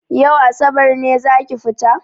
Yau asabar ne zaki fita?